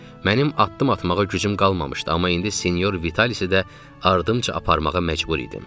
Mənim addım atmağa gücüm qalmamışdı, amma indi Senyor Vitalisi də ardımca aparmağa məcbur idim.